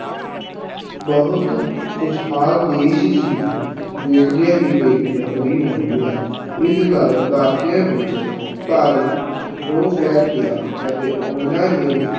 ਬਹੁਤ ਖ਼ੁਸ਼ਹਾਲ ਦੇਸ ਸੀ, ਵੇਖਦਿਆਂ ਹੀ ਵੇਖਦਿਆਂ ਗ਼ਰੀਬ ਹੋ ਗਿਆ, ਇਸ ਕਾਰਨ ਭਾਰਤੀਆਂ ਵਿੱਚ ਭਾਰੀ ਰੋਹ ਫੈਲ ਗਿਆ ਅਤੇ ਉਹਨਾਂ ਨੇ